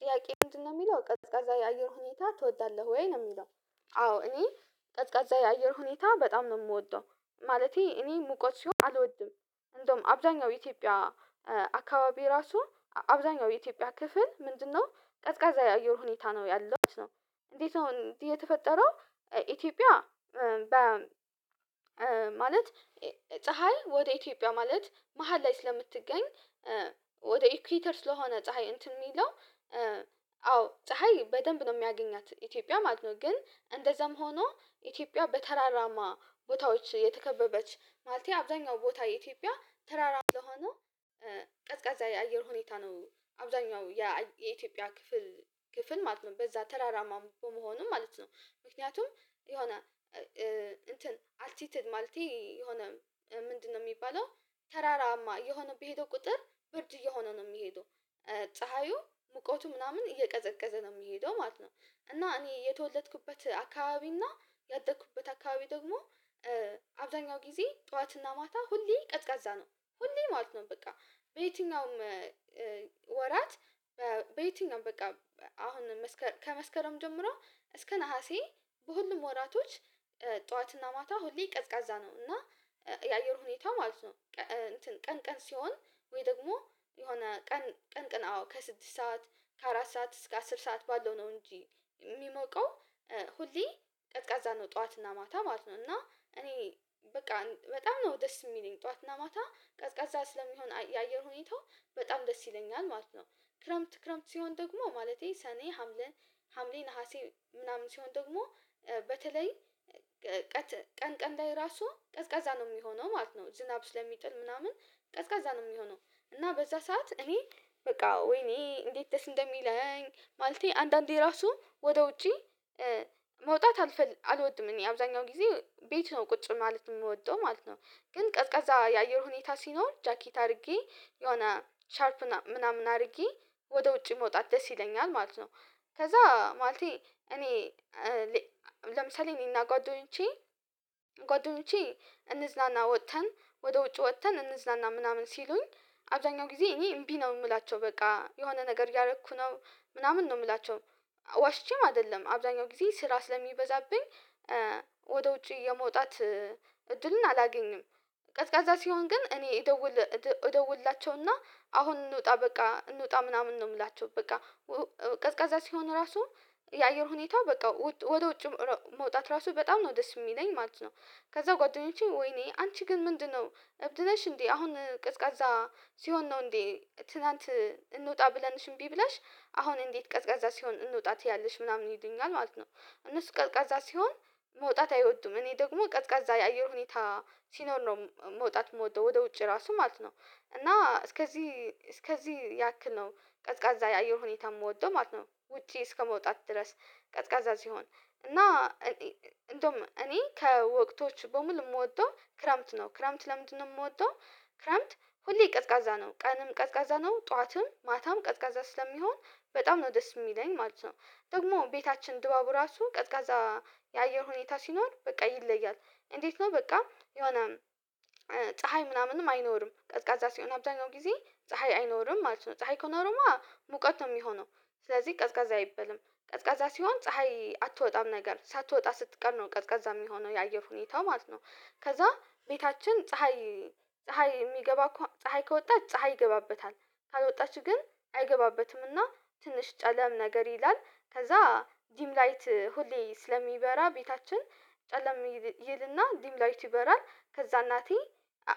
ጥያቄ ምንድነው የሚለው ቀዝቃዛ የአየር ሁኔታ ትወዳለህ ወይ? ነው የሚለው አዎ እኔ ቀዝቃዛ የአየር ሁኔታ በጣም ነው የምወደው ማለቴ እኔ ሙቀት ሲሆን አልወድም እንደውም አብዳኛው ኢትዮጵያ አካባቢ ራሱ አብዛኛው የኢትዮጵያ ክፍል ምንድነው ቀዝቃዛ የውር ሁኔታ ነው ያለው እንዴት ነው እንዴት የተፈጠረው ኢትዮጵያ በ ማለት ፀሀይ ወደ ኢትዮጵያ ማለት መሃል ላይ ስለምትገኝ ወደ ኢኩዌተር ስለሆነ ፀሀይ እንትን የሚለው አዎ ፀሀይ በደንብ ነው የሚያገኛት ኢትዮጵያ ማለት ነው ግን እንደዛም ሆኖ ኢትዮጵያ በተራራማ ቦታዎች የተከበበች ማለቴ አብዛኛው ቦታ ኢትዮጵያ ተራራማ ለሆነው ቀዝቃዛ የአየር ሁኔታ ነው አብዛኛው የኢትዮጵያ ክፍል ክፍል ማለት ነው በዛ ተራራማ በመሆኑ ማለት ነው ምክንያቱም የሆነ እንትን አልቲትድ ማለቴ የሆነ ምንድነው የሚባለው ተራራማ የሆነ በሄደው ቁጥር ብርጅ እየሆነ ነው የሚሄደው ፀሀዩ ሙቀቱ ምናምን እየቀዘቀዘ ነው የሚሄደው ማለት ነው እና እኔ የተወለድኩበት አካባቢ እና ያደኩበት አካባቢ ደግሞ አብዛኛው ጊዜ ጠዋትና ማታ ሁሌ ቀዝቃዛ ነው ሁሌ ማለት ነው በቃ በየትኛውም ወራት በየትኛውም በቃ አሁን ከመስከረም ጀምሮ እስከ ነሀሴ በሁሉም ወራቶች ጠዋትና ማታ ሁሌ ቀዝቃዛ ነው እና የአየር ሁኔታው ማለት ነው ቀን ቀን ሲሆን ወይ ደግሞ የሆነ ቀን ቀን ቀን አዎ ከስድስት ሰዓት ከአራት ሰዓት እስከ አስር ሰዓት ባለው ነው እንጂ የሚሞቀው ሁሌ ቀዝቃዛ ነው ጠዋትና ማታ ማለት ነው እና እኔ በቃ በጣም ነው ደስ የሚለኝ ጠዋትና ማታ ቀዝቃዛ ስለሚሆን የአየር ሁኔታው በጣም ደስ ይለኛል ማለት ነው ክረምት ክረምት ሲሆን ደግሞ ማለቴ ሰኔ ሀምሌ ሀምሌ ነሀሴ ምናምን ሲሆን ደግሞ በተለይ ቀጥ ቀን ቀን ላይ ራሱ ቀዝቃዛ ነው የሚሆነው ማለት ነው ዝናብ ስለሚጥል ምናምን ቀዝቃዛ ነው የሚሆነው እና በዛ ሰዓት እኔ በቃ ወይኔ እንዴት ደስ እንደሚለኝ ማለቴ አንዳንዴ ራሱ ወደ ውጪ መውጣት አለፈል አልወድም እኔ አብዛኛው ጊዜ ቤት ነው ቁጭ ማለት የምወደው ማለት ነው ግን ቀዝቃዛ የአየር ሁኔታ ሲኖር ጃኬት አድርጌ የሆነ ሻርፕ ምናምን አድርጌ ወደ ውጪ መውጣት ደስ ይለኛል ማለት ነው ከዛ ማለቴ እኔ ለምሳሌ እኔና ጓደኞቼ ጓደኞቼ እንዝናና ወጥተን ወደ ውጭ ወጥተን እንዝናና ምናምን ሲሉኝ አብዛኛው ጊዜ እኔ እምቢ ነው የምላቸው በቃ የሆነ ነገር እያደረኩ ነው ምናምን ነው የምላቸው ዋሽቼም አይደለም አብዛኛው ጊዜ ስራ ስለሚበዛብኝ ወደ ውጪ የመውጣት እድልን አላገኝም ቀዝቃዛ ሲሆን ግን እኔ ይደውል ይደውልላቸውና አሁን እንውጣ በቃ እንውጣ ምናምን ነው የምላቸው በቃ ቀዝቃዛ ሲሆን ራሱ የአየር ሁኔታው በቃ ወደ ውጭ መውጣት ራሱ በጣም ነው ደስ የሚለኝ ማለት ነው ከዛ ጓደኞቼ ወይኔ አንቺ ግን ምንድነው እብድለሽ እንዴ አሁን ቅዝቃዛ ሲሆን ነው እንዴ ትላንት እንወጣ ብለንሽ እምቢ ብላሽ አሁን እንዴት ቀዝቃዛ ሲሆን እንውጣት ያለሽ ምናምን ይሉኛል ማለት ነው እነሱ ቀዝቃዛ ሲሆን መውጣት አይወዱም እኔ ደግሞ ቀዝቃዛ የአየር ሁኔታ ሲኖር መውጣት የምወደው ወደ ውጪ ራሱ ማለት ነው እና እስከዚህ እስከዚህ ያክል ነው ቀዝቃዛ የአየር ሁኔታ የምወደው ማለት ነው ውጪ እስከመውጣት ድረስ ቀዝቃዛ ሲሆን እና እንደውም እኔ ከወቅቶች በሙሉ የምወደው ክረምት ነው ክረምት ለምንድነው የምወደው ክረምት ሁሌ ቀዝቃዛ ነው ቀንም ቀዝቃዛ ነው ጠዋትም ማታም ቀዝቃዛ ስለሚሆን በጣም ነው ደስ የሚለኝ ማለት ነው ደግሞ ቤታችን ድባቡ ራሱ ቀዝቃዛ የአየር ሁኔታ ሲኖር በቃ ይለያል እንዴት ነው በቃ የሆነ ፀሀይ ምናምንም አይኖርም ቀዝቃዛ ሲሆን አብዛኛው ጊዜ ፀሀይ አይኖርም ማለት ነው ፀሀይ ኮነሮማ ሙቀት ነው የሚሆነው ስለዚህ ቀዝቃዛ አይበልም ቀዝቃዛ ሲሆን ፀሀይ አትወጣም ነገር ሳትወጣ ስትቀር ነው ቀዝቃዛ የሚሆነው የአየር ሁኔታው ማለት ነው ከዛ ቤታችን ፀሀይ ፀሀይ የሚገባ ከሆ ፀሀይ ከወጣች ፀሀይ ይገባበታል ካልወጣችሁ ግን አይገባበትምና ትንሽ ጨለም ነገር ይላል ከዛ ዲም ላይት ሁሌ ስለሚበራ ቤታችን ጨለም ይልና ዲም ላይዩቲ ይበራል ከዛ እናቴ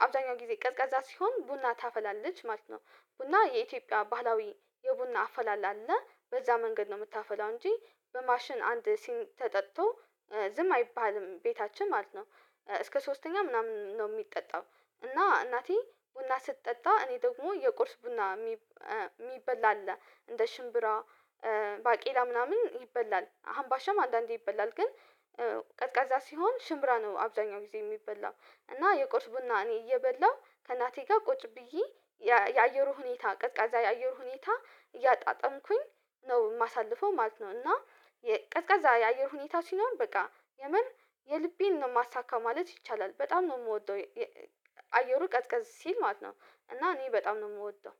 አብዛኛው ጊዜ ቀዝቃዛ ሲሆን ቡና ታፈላለች ማለት ነው ቡና የኢትዮጵያ ባህላዊ የቡና አፈላል አለ በዛ መንገድ ነው የምታፈላው እንጂ በማሽን አንድ ሲን ተጠጥቶ ዝም አይባልም ቤታችን ማለት ነው እስከ ሶስተኛ ምናምን ነው የሚጠጣው እና እናቴ ቡና ስትጠጣ እኔ ደግሞ የቁርስ ቡና የሚበላ አለ እንደ ሽምብራ ባቄላ ምናምን ይበላል አምባሻም አንዳንዴ ይበላል ግን ቀዝቃዛ ሲሆን ሽምራ ነው አብዛኛው ጊዜ የሚበላው እና የቆርስ ቡና እኔ እየበላው ከናቴ ጋር ቁጭ ብዬ የአየሩ ሁኔታ ቀዝቃዛ የአየሩ ሁኔታ እያጣጣምኩኝ ነው የማሳልፈው ማለት ነው እና የቀዝቃዛ የአየር ሁኔታ ሲኖር በቃ የምን የልቤን ነው የማሳካው ማለት ይቻላል በጣም ነው የምወደው አየሩ ቀስ ቀስ ሲል ማለት ነው እና እኔ በጣም ነው የምወደው